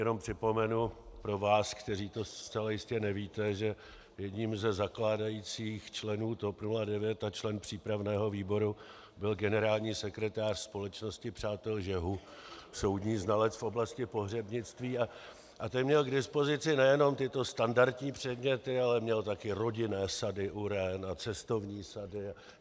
Jenom připomenu pro vás, kteří to zcela jistě nevíte, že jedním ze zakládajících členů TOP 09 a členem přípravného výboru byl generální sekretář Společnosti přátel žehu, soudní znalec v oblasti pohřebnictví, a ten měl k dispozici nejenom tyto standardní předměty, ale měl také rodinné sady uren a cestovní sady.